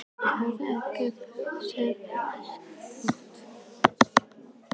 Karl Eskil: Hvernig sérð þú næstu ár þróast hjá ykkur?